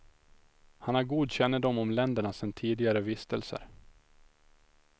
Han har god kännedom om länderna sen tidigare vistelser.